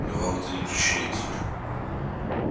но вам это не причинит